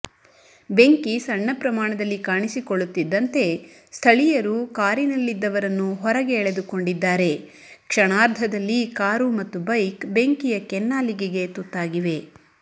ಬೆಂಕಿ ಸಣ್ಣ ಪ್ರಮಾಣದಲ್ಲಿ ಕಾಣಿಸಿಕೊಳ್ಳುತ್ತಿದ್ದಂತೆ ಸ್ಥಳಿಯರು ಕಾರಿನಲ್ಲದ್ದವರನ್ನು ಹೊರಗೆ ಎಳೆದುಕೊಂಡಿದ್ದಾರೆ ಕ್ಷಣಾರ್ಧದಲ್ಲಿ ಕಾರು ಮತ್ತು ಬೈಕ್ ಬೆಂಕಿಯ ಕೆನ್ನಾಲಿಗೆಗೆ ತುತ್ತಾಗಿವೆ